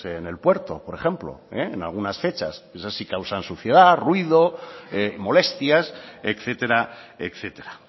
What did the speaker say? en el puerto por ejemplo en algunas fechas esas sí causan suciedad ruido molestias etcétera etcétera